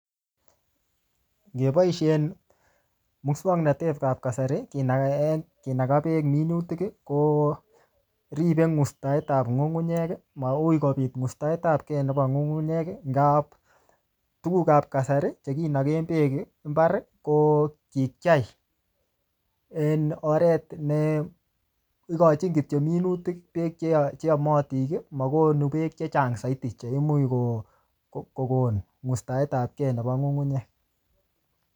Yeboisien muswaknatet ap kasari, kinaka en, kinaka beek minutik, koribe ng'ustaet apkey nebo ng'ung'unyek. Ngaa tuguk ap kasari, che kinaken beek en mbar, ko kikyai en oret ne ikochin kityo minutik beek che che yamatin. Makonu beek chechang zaidi che imuch ko-kokon ng'ustaet apke nebo ng'ung'unyek